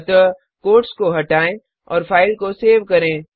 अतः कोट्स को हटाएँ और फाइल को सेव करें